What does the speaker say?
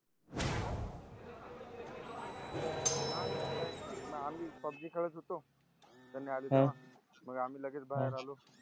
नाही नाही काहीच नाही आम्ही public कडेच होतो त्यांनी आले तेव्हा मग आम्ही लगेच बहार आलो